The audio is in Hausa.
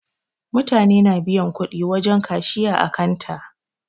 Mutane na biyan kudi wajen kashiya ã kanta.